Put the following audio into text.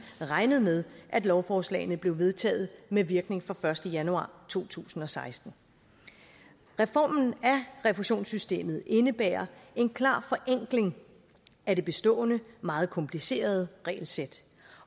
regnet med at lovforslagene blev vedtaget med virkning fra den første januar to tusind og seksten reformen af refusionssystemet indebærer en klar forenkling af det bestående meget komplicerede regelsæt